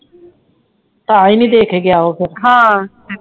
ਤਾਹਿ ਨੀ ਦੇ ਕੇ ਗਿਆ ਉਹ ਫੇਰ ਹਾਂ